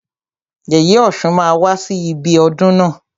Yèyè ọ̀ṣun máa wá sí ibi ọdún na.